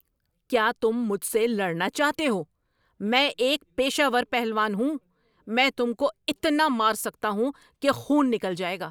کیا تم مجھ سے لڑنا چاہتے ہو؟ میں ایک پیشہ ور پہلوان ہوں! میں تم کو اتنا مار سکتا ہوں کہ خون نکل جائے گا۔